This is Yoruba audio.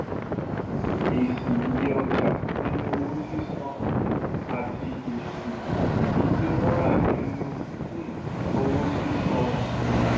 èsì iye ọjà nínú owó sísan um àti èsì èyí tí wón rà nínú um owó sísan